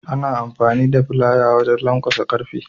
Ana amfani da filaya wajan lankwasa ƙarfe.